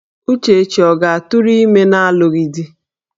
Uchechi ọ ga-atụrụ ime n'alụghị di?